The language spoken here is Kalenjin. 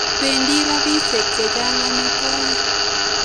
Bedi rapishek chechang omitwo'kik.